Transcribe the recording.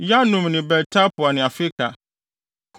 Yanum ne Bet-Tapua ne Afeka,